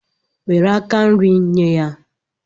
Nwere aka nri, nye ya